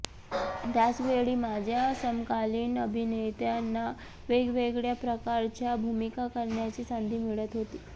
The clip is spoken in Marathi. त्याच वेळी माझ्या समकालीन अभिनेत्यांना वेगवेगळ्या प्रकारच्या भूमिका करण्याची संधी मिळत होती